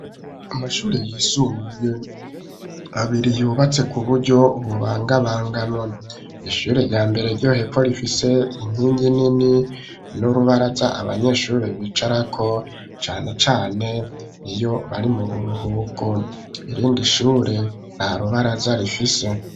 Amashure yisumbuye, abiri, yubatse ku buryo, bubangabanganwa; ishure rya mbere, ryo hepfo, rifise inkingi nini, n'urubaraza, abanyeshure bicarako, cane cane, iyo bari mu buruhuku; irindi shure, nta rubaraza rifise.